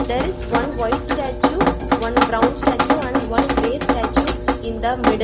there is one white statue one brown statue and one grey statue in the middle.